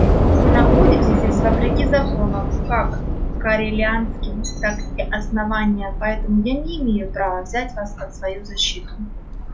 вы находитесь здесь вопреки законам как корелианским так и основания поэтому я не имею права взять вас под свою защиту